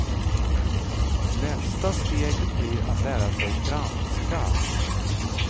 Nästa steg blir att lära sig franska.